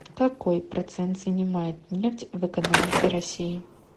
какой процент занимает нефть в экономике россии